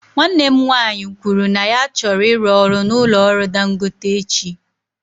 Nwanne m nwanyị kwuru na ya chọrọ ịrụ ọrụ na ụlọ ọrụ dangote echi.